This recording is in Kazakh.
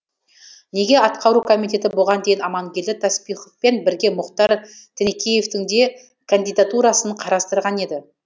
неге атқару комитеті бұған дейін амангелді таспиховпен бірге мұхтар тінікеевтің де кандидатурасын қарастырған еді